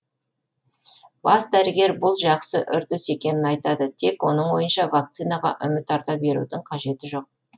бас дәрігер бұл жақсы үрдіс екенін айтады тек оның ойынша вакцинаға үміт арта берудің қажеті жоқ